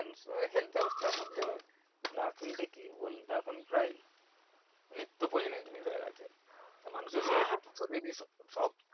health ব্যাবস্থার মধ্যে নার্সিংটা কি এখন বোলো তো প্রায় নিত্যপরিজনিও জিনিস হয়ে গেছে